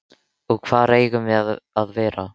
Þið hafið verið svipt ykkar rétti.